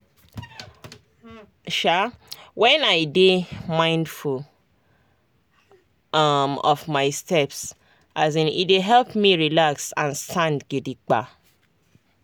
um when i dey mindful um of my steps um e dey help me relax and stand gidigba.